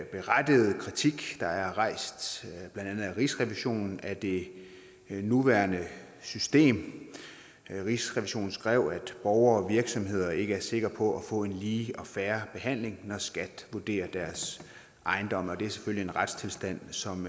berettigede kritik der er rejst af blandt andet rigsrevisionen af det nuværende system rigsrevisionen skrev at borgere og virksomheder ikke er sikre på at få en lige og fair behandling når skat vurderer deres ejendomme og det er selvfølgelig en retstilstand som